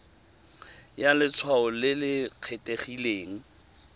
ya letshwao le le kgethegileng